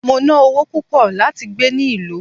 Mo ná ọwó púpò lati gbé ni ìlú